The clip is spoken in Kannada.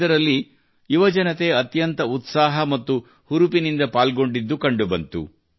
ಇದರಲ್ಲಿ ಯುವಜನತೆ ಅತ್ಯಂತ ಉತ್ಸಾಹ ಮತ್ತು ಹುರುಪಿನಿಂದ ಪಾಲ್ಗೊಂಡಿದ್ದು ಕಂಡುಬಂದಿತು